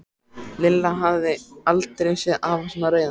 Lilla hafði aldrei séð afa svona reiðan.